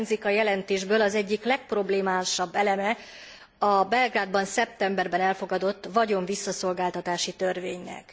Hiányzik a jelentésből az egyik legproblémásabb eleme, a Belgrádban szeptemberben elfogadott vagyon visszaszolgáltatási törvénynek.